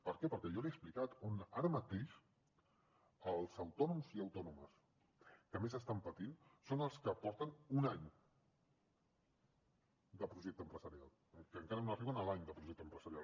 per què perquè jo li he explicat ara mateix els autònoms i autònomes que més estan patint són els que porten un any de projecte empresarial que encara no arriben a l’any de projecte empresarial